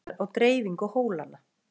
til skýringar á dreifingu hólanna